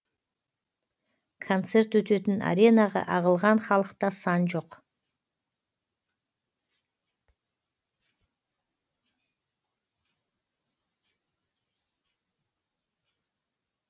концерт өтетін аренаға ағылған халықта сан жоқ